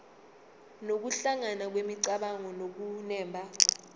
nokuhlangana kwemicabango nokunemba